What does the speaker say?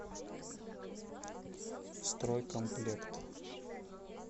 стройкомплект